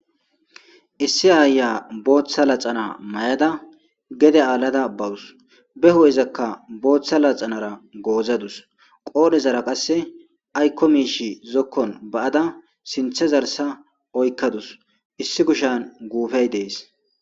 Issi aaya booththa laxana may7ada gede aalada bawus be hu7ezakka booththa laxanara goozadus qoodhezara qasse aykko miishi zokkon ba7ada sinthe zarsa oykkadus issi kushan guufey dees.